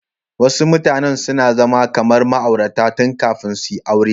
Wasu mutane suna zama kamar ma'aurata tun kafin suyi aure.